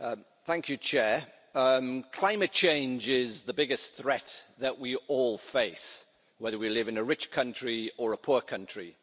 Mr President, climate change is the biggest threat that we all face, whether we live in a rich country or a poor country,